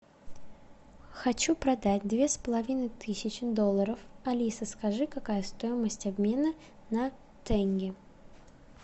хочу продать две с половиной тысячи долларов алиса скажи какая стоимость обмена на тенге